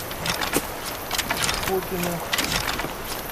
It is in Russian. купино